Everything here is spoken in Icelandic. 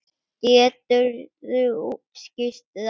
Geturðu útskýrt það?